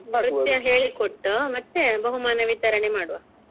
ನೃತ್ಯ ಹೇಳಿಕೊಟ್ಟು ಮತ್ತೆ ಬಹುಮಾನ ವಿತರಣೆ ಮಾಡುವ.